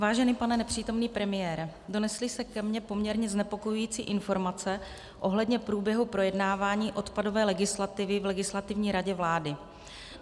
Vážený pane nepřítomný premiére, donesly se ke mně poměrně znepokojující informace ohledně průběhu projednávání odpadové legislativy v Legislativní radě vlády.